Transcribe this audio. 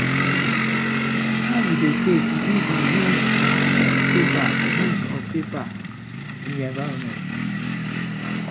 how you dey take reduce di use of paper use of paper in your environment?